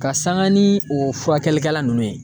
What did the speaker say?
Ka sanga ni o furakɛlikɛla nunnu ye